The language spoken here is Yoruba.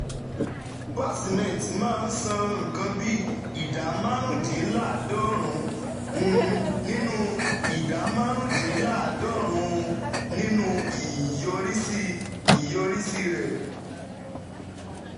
BUA Cement máa ń san nǹkan bí ìdá márùndínláàádọ́rùn-ún nínú ìdá márùndínláàádọ́rùn-ún nínú ìyọrísí ìyọrísí rẹ̀